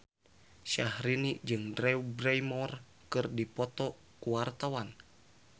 Syahrini jeung Drew Barrymore keur dipoto ku wartawan